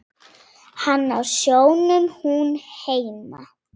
Hann á sjónum, hún heima.